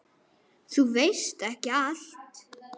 Þú veist ekki allt.